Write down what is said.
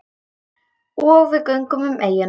Og við göngum um eyjuna.